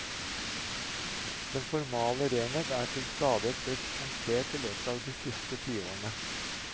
Den formale renhet er til stadighet blitt punktert i løpet av de siste tiårene.